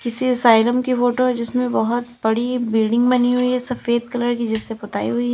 किसी असाईलम की फोटो जिसमें बहोत बड़ी बिल्डिंग बनी हुई है सफेद कलर की जिससे पुताई हुईं हैं।